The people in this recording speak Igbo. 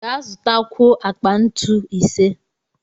Ga zụtakwuo akpa ntu ise!